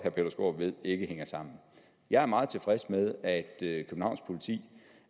ved ikke hænger sammen jeg er meget tilfreds med at